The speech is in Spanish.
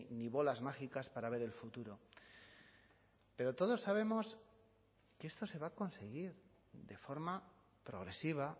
ni bolas mágicas para ver el futuro pero todos sabemos que esto se va a conseguir de forma progresiva